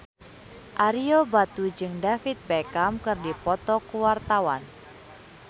Ario Batu jeung David Beckham keur dipoto ku wartawan